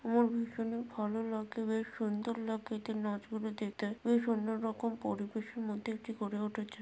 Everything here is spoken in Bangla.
আমার ভীষণই ভালো লাগে বেশ সুন্দর লাগে এদের নাচ গুলো দেখতে। বেশ অন্য রকম পরিবেশের মধ্যে এটি গড়ে উঠেছে।